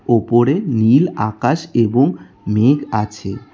ওপরে নীল আকাশ এবং মেঘ আছে।